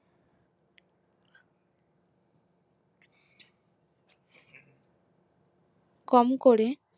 কম করে